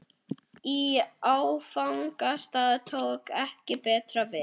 Í áfangastað tók ekki betra við.